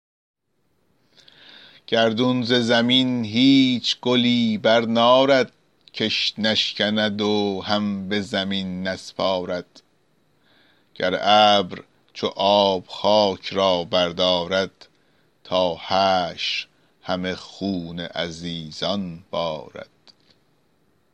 گردون ز زمین هیچ گلی برنارد کش نشکند و هم به زمین نسپارد گر ابر چو آب خاک را بردارد تا حشر همه خون عزیزان بارد